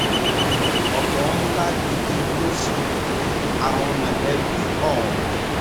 ọ̀fọ̀ ńlá gidi ló ṣe àwọn mọ̀lẹ́bí ọ̀hún